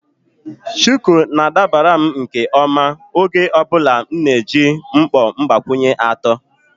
Shuku na-adabara m nke ọma oge ọ bụla m na-eji mkpọ mgbakwunye atọ.